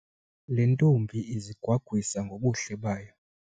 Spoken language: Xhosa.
Le ntombi izigwagwisa ngobuhle bayo.